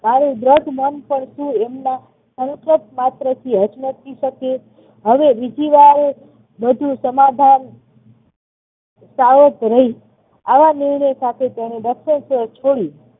મારો દ્રઢ મન પરથી એમના માત્ર હચમચી શકે. હવે બીજી વાર બધું સમાધાન સાવધ રહી આવા નિર્ણય સાથે તેને દક્ષિણેશ્વર છોડ્યું.